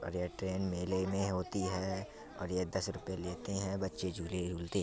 और ये ट्रेन मेले में होती है और ये दस रुपये लेते हैं | बच्चे झूले झूलते--